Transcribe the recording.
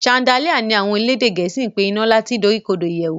Chandelier ní àwọn elédè gèésì pé ina Nla tí dorikodo ìyèwù